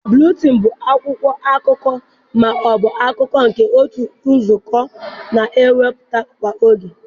Buletịịnị bụ akwụkwọ akụkọ ma ọ bụ akụkọ nke otu nzukọ na-ewepụta kwa oge.